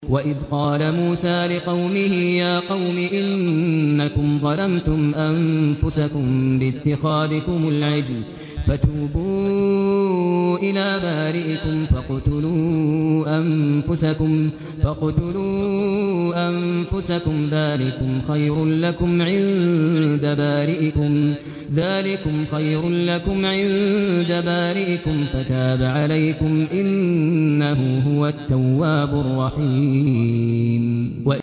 وَإِذْ قَالَ مُوسَىٰ لِقَوْمِهِ يَا قَوْمِ إِنَّكُمْ ظَلَمْتُمْ أَنفُسَكُم بِاتِّخَاذِكُمُ الْعِجْلَ فَتُوبُوا إِلَىٰ بَارِئِكُمْ فَاقْتُلُوا أَنفُسَكُمْ ذَٰلِكُمْ خَيْرٌ لَّكُمْ عِندَ بَارِئِكُمْ فَتَابَ عَلَيْكُمْ ۚ إِنَّهُ هُوَ التَّوَّابُ الرَّحِيمُ